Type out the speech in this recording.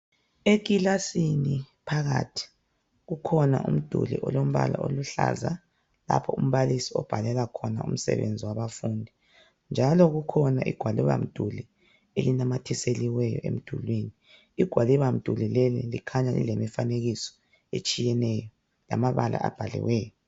Ekilasini phakathi kukhona umduli, olombala oluhlaza, lapho umbalisi abhalela khona umsebenzi wabafundi, njalo kukhona igwalibamduli. Elinamathiseliweyo emdulwini, njalo igwalibamduli leli likhanya lilemifanekiso. Lamabala abhaliweyo.